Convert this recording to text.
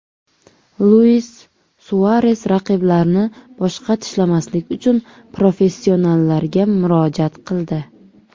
Luis Suares raqiblarni boshqa tishlamaslik uchun professionallarga murojaat qildi.